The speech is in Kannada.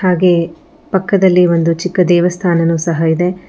ಹಾಗೆ ಪಕ್ಕದಲ್ಲಿ ಒಂದು ಚಿಕ್ಕ ದೇವಸ್ಥಾನನೂ ಸಹ ಇದೆ.